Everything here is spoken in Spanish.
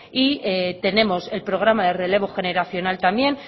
y tenemos el programa relevo generacional